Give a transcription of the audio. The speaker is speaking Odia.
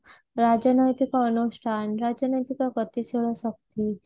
ରାଜନୈତିକ ଅନୁଷ୍ଠାନ ରାଜନୈତିକ ପ୍ରତିଶୀଳ ଶକ୍ତି